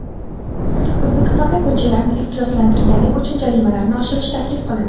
O‘zbekistonda ko‘chalarni ifloslantirganlik uchun jarimalarni oshirish taklif qilindi.